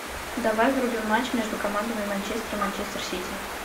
давай врубим матч между командами манчестер и манчестер сити